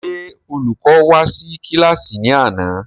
Ṣé Olùkọ́ wá sí kílàsì ní àná?